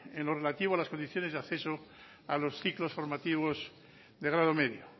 en lo relativo a las condiciones de acceso a los ciclos formativos de grado medio